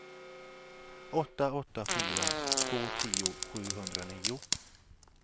åtta åtta fyra två tio sjuhundranio